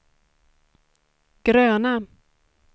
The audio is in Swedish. gröna